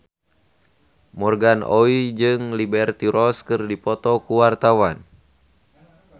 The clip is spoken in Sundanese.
Morgan Oey jeung Liberty Ross keur dipoto ku wartawan